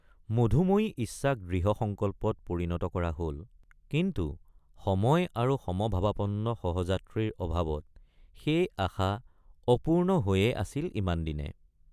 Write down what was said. মধুময়ী ইচ্ছাক দৃঢ় সংকল্পত পৰিণত কৰা হল কিন্তু সময় আৰু সমভাবাপন্ন সহযাত্ৰীৰ অভাৱত সেই আশা অপূৰ্ণ হৈয়েই আছিল ইমানদিনে।